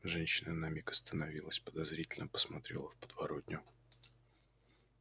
женщина на миг остановилась подозрительно посмотрела в подворотню